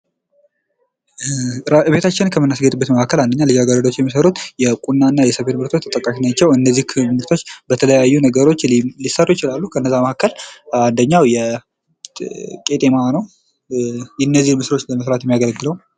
ቤታችን ከምናስጐጥበት መካከል አንደኛ ልጃገረዶች የሚሰሩት የቁናና የሰፌድ ምርቶች ተርቃሽ ናቸው። እነዚህ በተለያዩ ነገሮች ሊሰሩ ይችላሉ ከነዛ መካከል አንደኛው ቄጤማ ነው የነዚህን መስራት የሚያገለግለው።